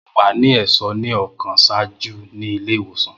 Mo wa ni ẹṣọ ni ọkan ṣaaju ni ile-iwosan.